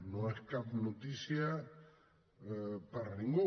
no és cap notícia per a ningú